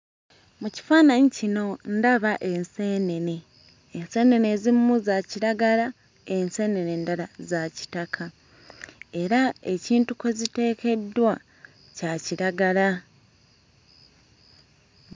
Mu kifaananyi kino ndaba enseenene enseenene ezimu za kiragala enseenene endala za kitaka era ekintu kwe ziteekeddwa kya kiragala.